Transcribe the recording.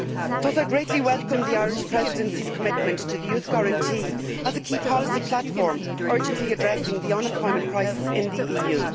Thus I greatly welcome the Irish Presidency's commitment to the youth guarantee as a key policy platform urgently addressing the unemployment crisis in the EU.